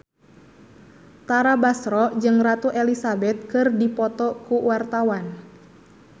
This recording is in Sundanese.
Tara Basro jeung Ratu Elizabeth keur dipoto ku wartawan